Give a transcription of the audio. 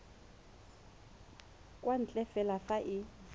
kwa ntle fela fa e